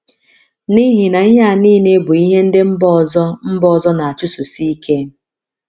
N’ihi na ihe a nile bụ ihe ndị mba ọzọ mba ọzọ na - achụsosi ike.